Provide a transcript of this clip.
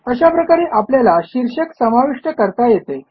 अशा प्रकारे आपल्याला शीर्षक समाविष्ट करता येते